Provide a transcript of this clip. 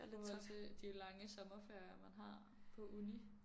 I forhold til de lange sommerferier man har på uni